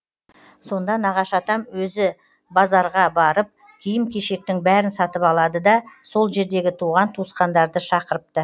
сонда нағашы атам өзі базарғабарып киім кешектің бәрін сатып алады да сол жердегі туған туысқандарды шақырыпты